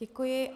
Děkuji.